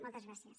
moltes gràcies